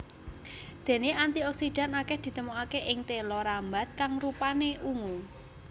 Déné antioksidan akèh ditemokaké ing téla rambat kang rupané ungu